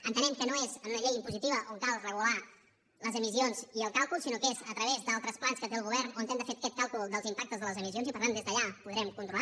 entenem que no és en una llei impositiva on cal regular les emissions i el càlcul sinó que és a través d’altres plans que té el govern on hem de fer aquest càlcul dels impactes de les emissions i per tant des d’allà ho podrem controlar